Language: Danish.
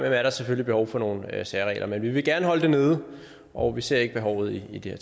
er der selvfølgelig behov for nogle særregler men vi vil gerne holde det nede og vi ser ikke behovet i det